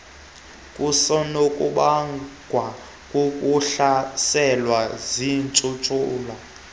kusenokubangwa kukuhlaselwa ziintshulube